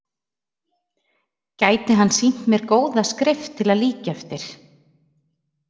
Gæti hann sýnt mér góða skrift til að líkja eftir?